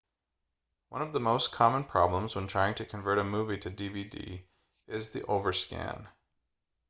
one of the most common problems when trying to convert a movie to dvd format is the overscan